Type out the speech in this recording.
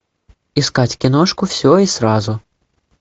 искать киношку все и сразу